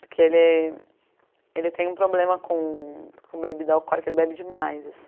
porque ele ele tem um problema com com bebida alcoólica, ele bebe demais assim.